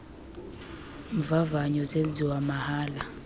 mvavanyo zenziwa mahala